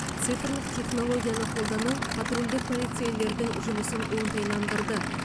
цифрлық технологияны қолдану патрульдік полицейлердің жұмысын оңтайландырды